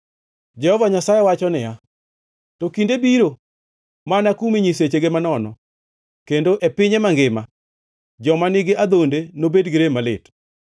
Jehova Nyasaye wacho niya, “To kinde biro, ma anakume nyisechege manono, kendo e pinye mangima joma nigi adhonde nobed gi rem malit.